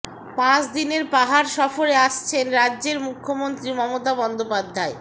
পাঁচ দিনের পাহাড় সফরে আছেন রাজ্যের মুখ্যমন্ত্রী মমতা বন্দ্যোপাধ্যায়